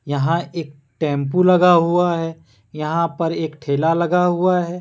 यहां एक टेंपू लगा हुआ है। यहां पर एक ठेला लगा हुआ है।